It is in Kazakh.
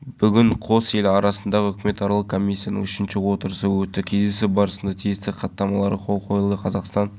өткен отырыста біз нысан толық дайын десек осы күннің ішінде жетеді деп отырмыз орталықта жабайы базар